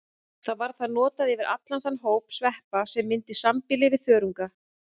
Þar var það notað yfir allan þann hóp sveppa sem myndar sambýli við þörunga.